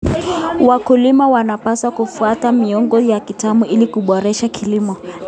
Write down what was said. Wakulima wanapaswa kufuata miongozo ya kitaalamu ili kuboresha kilimo.